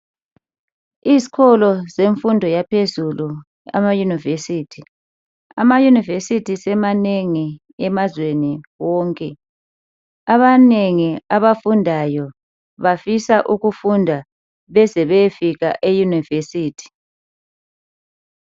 Izikolo zemfundo yaphezulu, amayunivesithi. Amayunivesithi semanengi emazweni wonke. Abanengi abafundayo bafisa ukufunda beze beyefika eyunivesithi.